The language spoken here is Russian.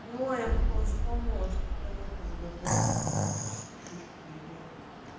но я потом вспомнила что ты ну ты же говорила что ты чисто шишки грибы